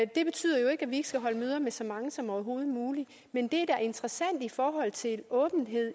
det betyder jo ikke at vi ikke skal holde møder med så mange som overhovedet muligt men det er da interessant i forhold til åbenhed